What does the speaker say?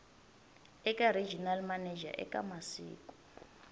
eka regional manager eka masiku